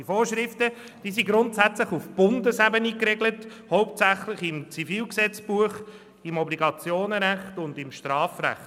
Diese Vorschriften sind grundsätzlich auf Bundesebene geregelt, hauptsächlich im Schweizerischen Zivilgesetzbuch (ZGB), im Obligationenrecht (OR) und im Strafrecht.